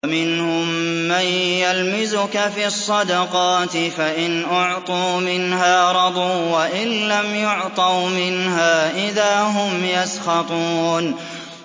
وَمِنْهُم مَّن يَلْمِزُكَ فِي الصَّدَقَاتِ فَإِنْ أُعْطُوا مِنْهَا رَضُوا وَإِن لَّمْ يُعْطَوْا مِنْهَا إِذَا هُمْ يَسْخَطُونَ